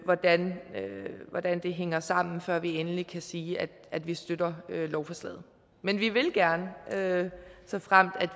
hvordan hænger sammen før vi endelig kan sige at vi støtter lovforslaget men vi vil gerne såfremt